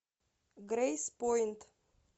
грейспойнт